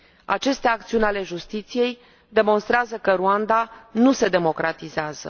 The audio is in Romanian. Aceste acțiuni ale justiției demonstrează că Rwanda nu se democratizează.